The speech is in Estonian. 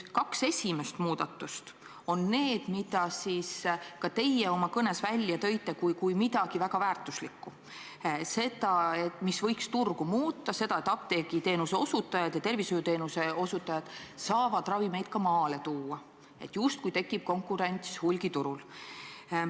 Kaks esimest muudatust on need, mille ka teie oma kõnes välja tõite kui väga väärtuslikud: need võiks turgu muuta, apteegiteenuse osutajad ja tervishoiuteenuse osutajad saaksid ravimeid ka maale tuua ja justkui tekiks konkurents hulgiturul.